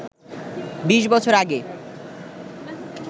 বিশ বছর আগে